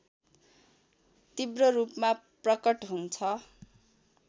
तीव्ररूपमा प्रकट हुन्छ